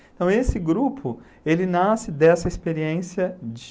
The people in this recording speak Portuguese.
Então, esse grupo, ele nasce dessa experiência de...